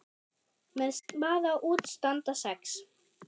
Með spaða út standa sex.